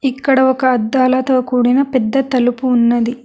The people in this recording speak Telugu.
ఇక్కడ ఒక అద్దాలతో కూడిన పెద్ద తలుపు ఉన్నది.